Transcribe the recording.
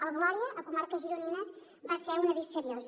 el gloria a comarques gironines va ser un avís seriós